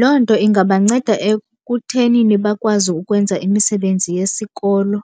Loo nto ingabanceda ekuthenini bakwazi ukwenza imisebenzi yesikolo